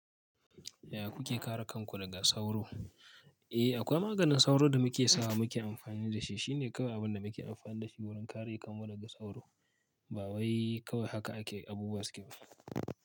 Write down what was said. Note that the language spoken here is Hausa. Yaya kuke kare kanku daga sauro? Eh akwai maganin sauro da muke sawa muke amfani da shi. Shi ne kawai abin da muke amfani da shi wurin kare kanmu daga sauro. Ba wai kawai haka ake abubuwa suke yi.